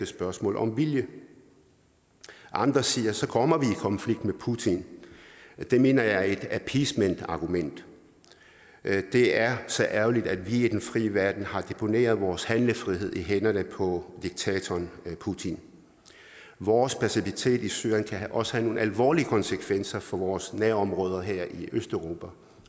spørgsmål om vilje andre siger at så kommer vi konflikt med putin det mener jeg er et appeasementargument det er så ærgerligt at vi i den frie verden har deponeret vores handlefrihed i hænderne på diktatoren putin vores passivitet i syrien kan også have nogle alvorlige konsekvenser for vores nærområder her i østeuropa